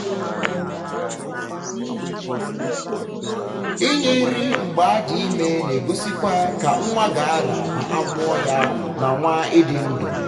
ịnye nri mgbe adị ime na egosikwa ka nwa ga ra ma amụọ ya na nwa ịdị ndụ